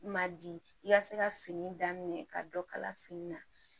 Ma di i ka se ka fini daminɛ ka dɔ kala fini na